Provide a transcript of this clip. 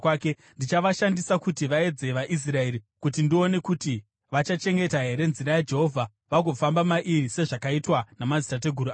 Ndichavashandisa kuti vaedze vaIsraeri, kuti ndione kuti vachachengeta here nzira yaJehovha vagofamba mairi sezvakaitwa namadzitateguru avo.”